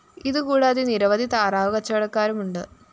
ഇതുകൂടാതെ നിരവധി താറാവ് കച്ചവടക്കാരുമുണ്ട്